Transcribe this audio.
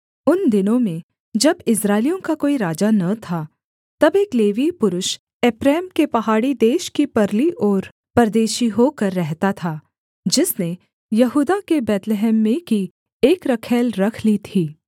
उन दिनों में जब इस्राएलियों का कोई राजा न था तब एक लेवीय पुरुष एप्रैम के पहाड़ी देश की परली ओर परदेशी होकर रहता था जिसने यहूदा के बैतलहम में की एक रखैल रख ली थी